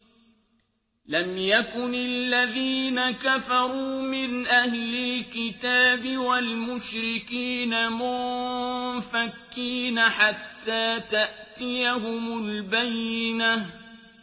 لَمْ يَكُنِ الَّذِينَ كَفَرُوا مِنْ أَهْلِ الْكِتَابِ وَالْمُشْرِكِينَ مُنفَكِّينَ حَتَّىٰ تَأْتِيَهُمُ الْبَيِّنَةُ